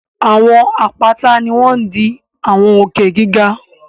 Àwọn àpáta ni wọ́n ń di àwọn òkè giga